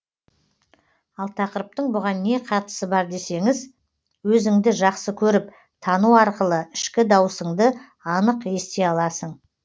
ал тақырыптың бұған не қатысы бар десеңіз өзіңді жақсы көріп тану арқылы ішкі даусыңды анық ести аласың